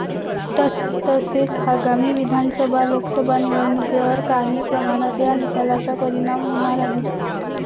तसेच आगामी विधानसभा, लोकसभा निवडणुकीवर काही प्रमाणात या निकालाचा परिणाम होणार आहे.